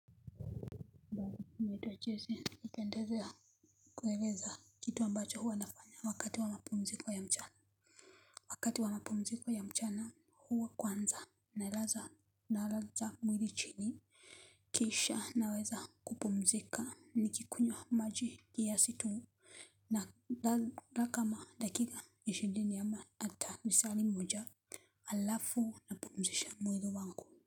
Michezo ninayopendelea. Kueleza kitu ambacho huwa nafanya wakati wa mapumziko ya mchana. Wakati wa mapumziko ya mchana huwa kwanza nalaza mwili chini. Kisha naweza kupumzika nikikunywa maji ya msitu. Nalala kama dakika ishirini ama hata lisali moja halafu napumzisha mwili wangu.